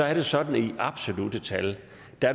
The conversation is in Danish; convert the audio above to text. er det sådan at i absolutte tal